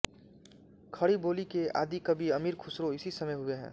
खड़ी बोली के आदिकवि अमीर खुसरो इसी समय हुए है